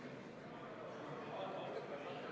Eelnõu esitajad olid selle keelelise täpsustusega nõus.